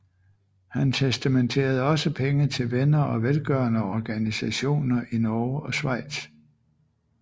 Han testamenterede også penge til venner og velgørende organisationer i Norge og Schweiz